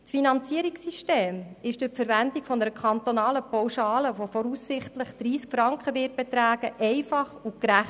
Das Finanzierungssystem ist durch die Verwendung einer kantonalen Pauschale von voraussichtlich 30 Franken einfach und gerecht.